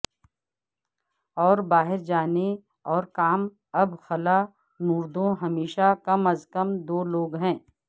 اور باہر جانے اور کام اب خلانوردوں ہمیشہ کم از کم دو لوگ ہیں